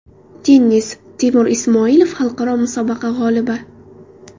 Tennis: Temur Ismoilov xalqaro musobaqa g‘olibi.